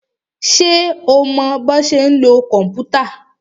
Ṣé o mọ bọ́ ṣe ń lo kòmpútà?